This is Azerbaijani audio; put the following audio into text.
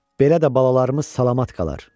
Belə də balalarımız salamat qalar,